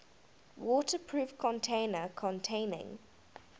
waterproof container containing